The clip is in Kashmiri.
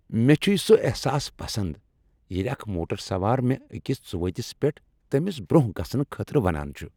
مےٚ چھ سہ احساس پسند ییٚلہ اکھ موٹر سوار مےٚ أکس ژو ؤتِس پیٹھ تٔمِس برٛونٛہہ گژھنہٕ خٲطرٕ ونان چھ۔